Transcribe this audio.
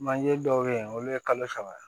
Manje dɔw bɛ yen olu ye kalo saba ye